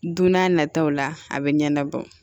Don n'a nataw la a bɛ ɲɛnabɔ